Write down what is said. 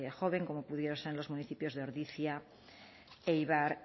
joven como pudieron ser en los municipios de ordizia eibar